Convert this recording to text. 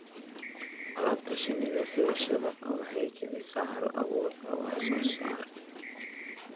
Alaabta shinnida sida shabagga waxay kicisaa hal-abuurka wax-soo-saarka.